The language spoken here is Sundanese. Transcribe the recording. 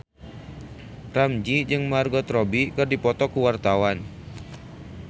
Ramzy jeung Margot Robbie keur dipoto ku wartawan